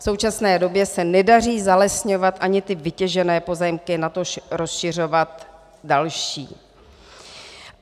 V současné době se nedaří zalesňovat ani ty vytěžené pozemky, natož rozšiřovat další.